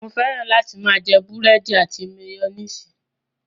Mo fẹ́ràn láti máa jẹ búrẹ́dì àti máyónísì.